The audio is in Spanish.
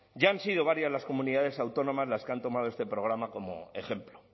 ya han sido varias las comunidades autónomas las que han tomado este programa como ejemplo